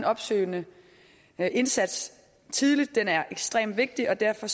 opsøgende indsats ekstremt vigtig og derfor